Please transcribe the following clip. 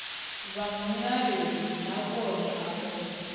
vha mulayoni nahone a vho